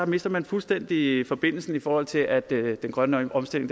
mister man fuldstændig forbindelsen i forhold til at den grønne omstilling